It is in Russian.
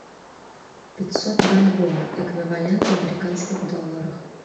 пятьсот бальбоа эквивалент в американских долларах